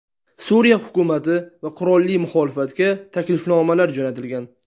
Suriya hukumati va qurolli muxolifatga taklifnomalar jo‘natilgan.